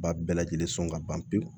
Ba bɛɛ lajɛlen sɔn ka ban pewu